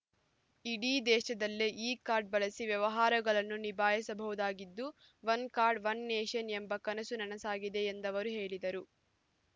ಇಡೀ ದೇಶದಲ್ಲೇ ಈ ಕಾರ್ಡ್ ಬಳಸಿ ವ್ಯವಹಾರಗಳನ್ನು ನಿಭಾಯಿಸಬಹುದಾಗಿದ್ದು ಒನ್ ಕಾರ್ಡ್ ಒನ್ ನೇಷನ್ ಎಂಬ ಕನಸು ನನಸಾಗಿದೆ ಎಂದವರು ಹೇಳಿದರು